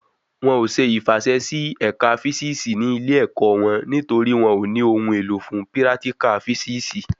Won ò ṣe ìfàsẹsí sí ẹ̀ka físìsì ní ilé ẹ̀kọ́ wọn nítorí wọn ò ní ohun èlò fún pírátíkà físìsì